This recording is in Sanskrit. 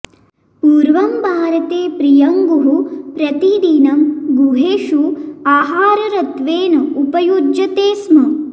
पूर्वं भारते प्रियङ्गुः प्रतिदिनं गृहेषु आहारत्वेन उपयुज्यते स्म